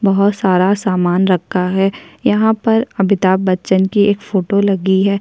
बोहोत सारा सामान रखा है यहाँ पर एक अमिताभ बच्चन की एक फोटो लगी हैं।